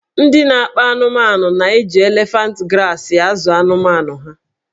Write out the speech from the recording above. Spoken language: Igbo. Ndị na-akpa anụmanụna-eji elefant grasị na-azụ anụmanụ ha.